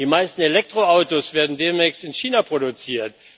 Die meisten Elektroautos werden demnächst in China produziert.